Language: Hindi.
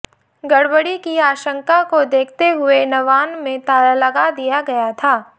गड़बड़ी की आशंका को देखते हुए नवान्न में ताला लगा दिया गया था